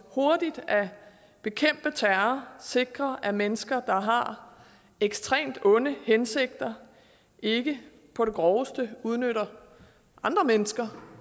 hurtigt at bekæmpe terror sikre at mennesker der har ekstremt onde hensigter ikke på det groveste udnytter andre mennesker